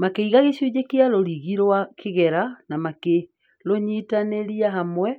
Makĩiga gĩcunjĩ kĩa rũrigi rũa kĩgera na makĩrũnyitanĩria hamwe",